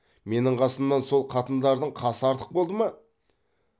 менің қасымнан сол қатындардың қасы артық болды ма